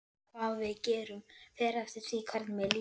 Hvað við gerum fer eftir því hvernig mér líður.